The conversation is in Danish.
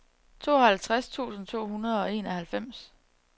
tooghalvtreds tusind to hundrede og enoghalvfems